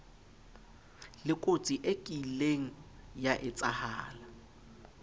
lekotsi e kieng ya etshahala